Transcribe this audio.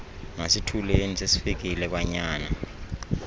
masithuleni sesifikile kwanyana